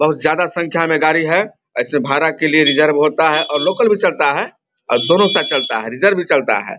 बहुत ज्यादा संख्या में गाड़ी है। ऐसे भाड़ा के लिए रिजर्व होता है और लोकल भी चलता है और दोनों से चलता है रिजर्व भी चलता है।